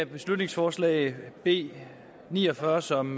beslutningsforslag b ni og fyrre som